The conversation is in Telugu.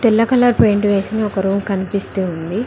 ఎల్లో కలర్ పెయింట్ వేసిన ఒక రూమ్ కనిపిస్తుంది.